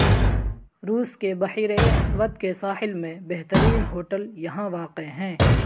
روس کے بحیرہ اسود کے ساحل میں بہترین ہوٹل یہاں واقع ہیں